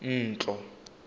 ntlo